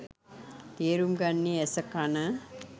තේරුම් ගන්නේ ඇස කණ.